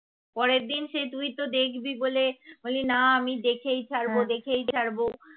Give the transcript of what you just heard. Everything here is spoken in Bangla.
পরের দিন সেই তুই তো দেখবি বলে বল্লি না আমি দেখেই ছাড়বো দেখেই ছাড়বো